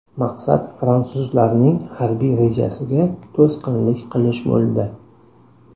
Maqsad fransuzlarning harbiy rejasiga to‘sqinlik qilish bo‘ldi.